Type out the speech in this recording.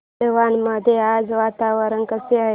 मालवण मध्ये आज वातावरण कसे आहे